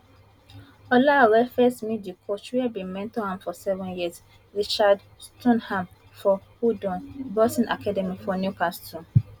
olaore first meet di coach wey bin mentor am for seven years richard stoneham for howdon boxing academy for newcastle